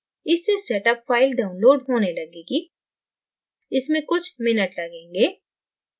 इससे setup file download होने लगेगी इसमें कुछ minutes लगेंगें